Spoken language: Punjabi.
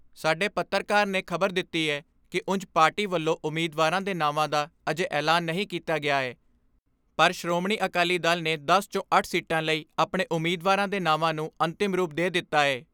ਸਾਡੇ ਪੱਤਰਕਾਰ ਨੇ ਖਬਰ ਦਿੱਤੀ ਏ ਕਿ ਉਂਜ ਪਾਰਟੀ ਵੱਲੋਂ ਉਮੀਦਵਾਰਾਂ ਦੇ ਨਾਵਾਂ ਦਾ ਅਜੇ ਐਲਾਨ ਨਹੀਂ ਕੀਤਾ ਗਿਆ ਏ ਪਰ ਸ਼੍ਰੋਮਣੀ ਅਕਾਲੀ ਦਲ ਨੇ ਦਸ 'ਚੋਂ ਅੱਠ ਸੀਟਾਂ ਲਈ ਆਪਣੇ ਉਮੀਦਵਾਰਾਂ ਦੇ ਨਾਵਾਂ ਨੂੰ ਅੰਤਿਮ ਰੂਪ ਦੇ ਦਿੱਤਾ ਏ।